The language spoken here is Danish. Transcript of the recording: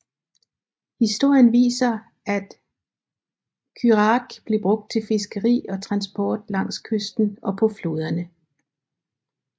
Historien viser at curach blev brugt til fiskeri og transport langs kysten og på floderne